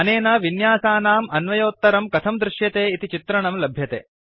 अनेन विन्यासानाम् अन्वयोत्तरं कथं दृश्यते इति चित्रणं लभ्यते